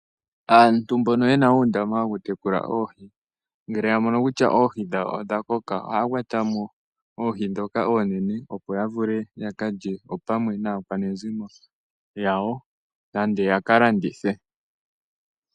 Aantu mbono yena uundama woku tekula oohi ngele ya mono kutya oohi dhawo odha koka ohaya kwata mo oohi ndhoka oonene opo ya vule ya kalye opamwe naakwanezimo yawo nenge yaka landithe.